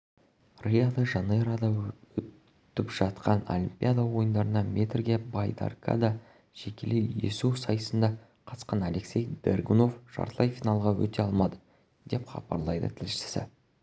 рио-де-жанейрода өтіп жатқан олимпиада ойындарында метрге байдаркада жекелей есу сайысына қатысқан алексей дергунов жартылай финалға өте алмады деп хабарлайды тілшісі